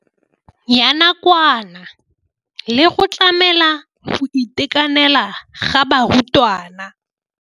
Ya nakwana le go tlamela go itekanela ga barutwana.